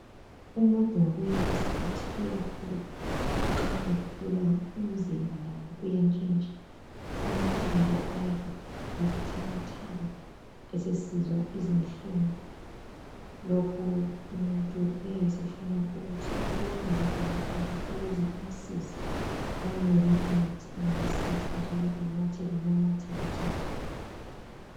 Umuntu ngokuya kwesikhathi uyakhula nxa ekhula umzimba lawo uyantshintsha amathambo aba buthakathaka esesizwa izinhlungu. Lokhu umuntu uyabe sefuna abonwe ngudokotela ukuze amsize amnike imithi engamsiza njalo anathe lama multivitamini.